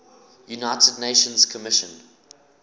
united nations commission